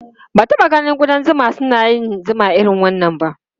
Ba ta taɓa ganin ƙudan zuma suna yin zuma irin wannan ba.